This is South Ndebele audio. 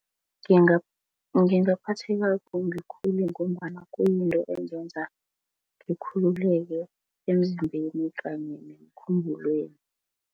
Ngingaphatheka kumbi khulu ngombana kuyinto ezenza ngikhululeke emzimbeni kanye nemkhumbulweni.